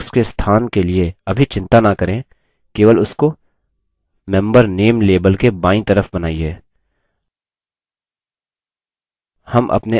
list box के स्थान के लिए अभी चिंता न करें केवल उसको member name label के बायीं तरफ बनाइए